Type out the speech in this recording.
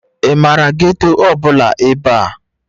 Ị maara geeto ọbụla ebe a?